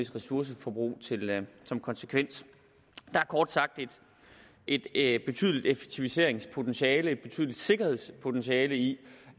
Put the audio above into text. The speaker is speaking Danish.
ressourceforbrug som konsekvens der er kort sagt et et betydeligt effektiviseringspotentiale og et betydeligt sikkerhedspotentiale i